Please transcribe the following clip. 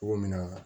Cogo min na